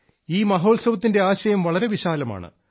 ഈ മഹോത്സവത്തിന്റെ ആശയം വളരെ വിശാലമാണ്